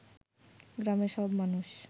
গ্রামের সব মানুষ